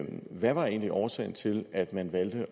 hvad var egentlig årsagen til at man valgte